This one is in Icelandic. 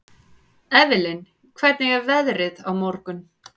Evelyn, hvernig er veðrið á morgun?